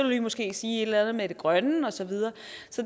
vi måske sige et eller andet med det grønne og så videre